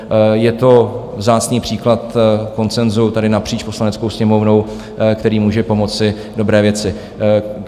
Je to vzácný příklad konsenzu tady napříč Poslaneckou sněmovnou, který může pomoci dobré věci.